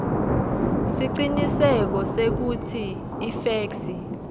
siciniseko sekutsi ifeksi